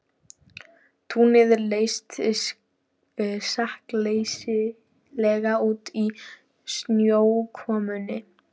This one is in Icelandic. Túnið leit sakleysislega út í snjókomunni.